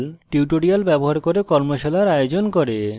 tutorials ব্যবহার করে কর্মশালার আয়োজন করে